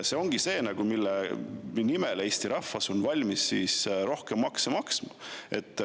See ongi see, mille nimel Eesti rahvas on valmis rohkem makse maksma.